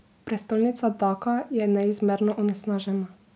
Prestolnica Daka je neizmerno onesnažena.